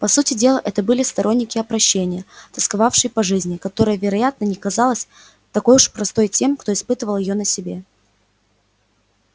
по сути дела это были сторонники опрощения тосковавшие по жизни которая вероятно не казалась такой уж простой тем кто испытывал её на себе